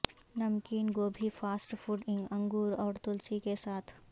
نمکین گوبھی fast food انگور اور تلسی کے ساتھ